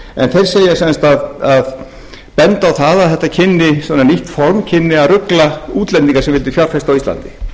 en þeir benda á að svona nýtt form kynni að rugla útlendinga sem vildu fjárfesta á íslandi